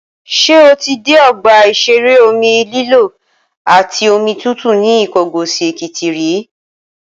Ṣé o ti dé ọgbà ìṣeré omi lílọ́ àti omi tútù ní Ìkọgòsì-Èkìtì rí?